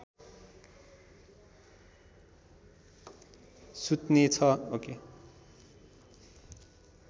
सुत्ने छ